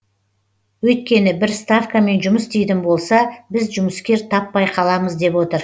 өйткені бір ставкамен жұмыс істейтін болса біз жұмыскер таппай қаламыз деп отыр